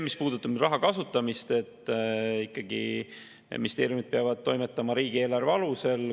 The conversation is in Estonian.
Mis puudutab raha kasutamist, siis ikkagi ministeeriumid peavad toimetama riigieelarve alusel.